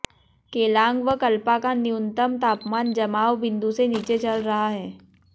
केलांग व कल्पा का न्यूनतम तापमान जमाव बिंदु से नीचे चल रहा है